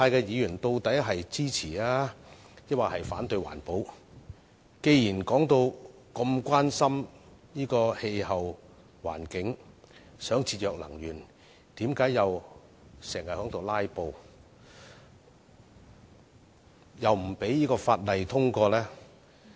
既然他們在發言時表現得如此關心氣候環境，想節約能源，為何又經常"拉布"呢？